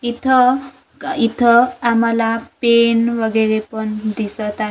इथं का इथं आम्हाला पेन वगैरे पण दिसतं आहे.